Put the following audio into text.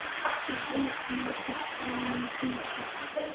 Waa il cunto oo muhiim ah.